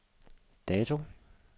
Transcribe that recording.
dato